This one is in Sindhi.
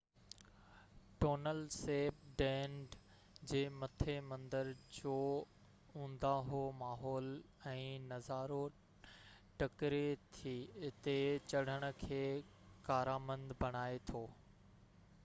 ٽونل سيپ ڍنڍ جي مٿي مندر جو اونداهو ماحول ۽ نظارو ٽڪري تي چڙهڻ کي ڪارامند بڻائي ٿو